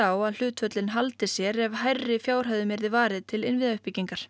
á að hlutföllin haldi sér ef hærri fjárhæðum yrði varið til innviðauppbyggingar